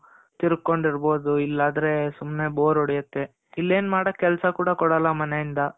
ತಿರ್ಕೊಂಡು ಇರ್ಬೋದು. ಇಲ್ಲಾದ್ರೆ ಸುಮ್ನೆ bore ಹೊಡೆಯುತ್ತೆ. ಇಲ್ಲೇನ್ ಮಾಡಕ್ ಕೆಲ್ಸ ಕೂಡ ಕೊಡಲ್ಲ ಮನೆ ಇಂದ.